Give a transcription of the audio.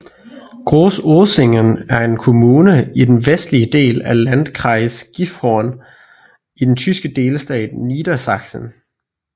Groß Oesingen er en kommune i den vestlige del af Landkreis Gifhorn i den tyske delstat Niedersachsen